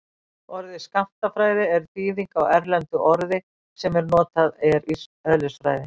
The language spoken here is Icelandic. orðið skammtafræði er þýðing á erlendu orði sem notað er í eðlisfræði